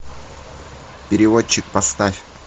переводчик поставь